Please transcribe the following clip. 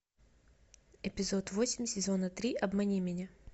эпизод восемь сезона три обмани меня